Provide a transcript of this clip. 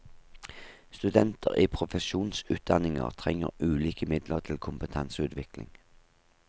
Studenter i profesjonsutdanninger trenger ulike midler til kompetanseutvikling.